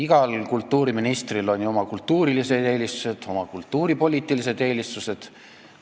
Igal kultuuriministril on ju oma kultuurilised eelistused ja oma kultuuripoliitilised eelistused.